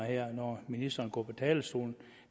når ministeren går på talerstolen